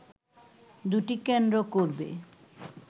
দুটি কেন্দ্র করবে